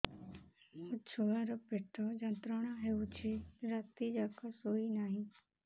ମୋ ଛୁଆର ପେଟ ଯନ୍ତ୍ରଣା ହେଉଛି ରାତି ଯାକ ଶୋଇନାହିଁ